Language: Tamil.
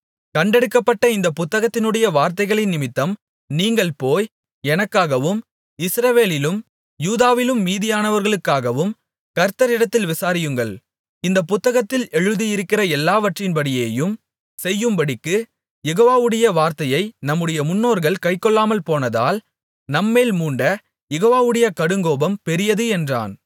கண்டெடுக்கப்பட்ட இந்தப் புத்தகத்தினுடைய வார்த்தைகளினிமித்தம் நீங்கள் போய் எனக்காகவும் இஸ்ரவேலிலும் யூதாவிலும் மீதியானவர்களுக்காகவும் கர்த்தரிடத்தில் விசாரியுங்கள் இந்தப் புத்தகத்தில் எழுதியிருக்கிற எல்லாவற்றின்படியேயும் செய்யும்படிக்கு யெகோவாவுடைய வார்த்தையை நம்முடைய முன்னோர்கள் கைக்கொள்ளாமல் போனதால் நம்மேல் மூண்ட யெகோவாவுடைய கடுங்கோபம் பெரியது என்றான்